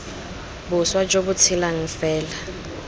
boswa jo bo tshelang fela